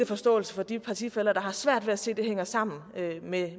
forståelse for de partifæller der har svært ved at se at det hænger sammen med